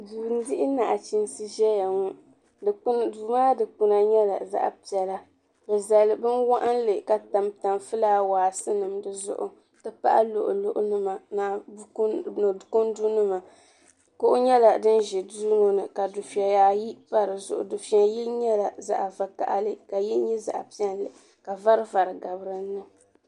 Duu n dihi naɣachiinsi zaya duu maa dikpina nyɛla zaɣa piɛla bɛ zali binwaɣinli ka tam tam filaawaasi di zuɣu n ti pahi luɣu luɣu nima ni kundu nima kuɣu nyɛla din ʒi duu ŋɔ ni ka dufeya ayi pa di zuɣu yini nyɛla zaɣa vakahali ka yini nyɛ zaɣa piɛlli ka vari vari gabi dinni.